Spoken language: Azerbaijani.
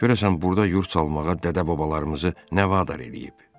Görəsən burda yurd salmağa dədə-babalarımızı nə vadar eləyib?